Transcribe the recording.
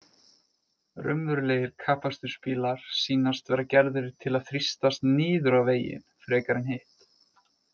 Raunverulegir kappakstursbílar sýnast vera gerðir til að þrýstast niður á veginn frekar en hitt.